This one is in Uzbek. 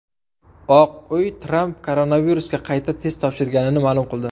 Oq uy Tramp koronavirusga qayta test topshirganini ma’lum qildi.